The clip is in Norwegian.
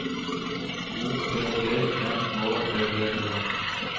O P P N Å D D E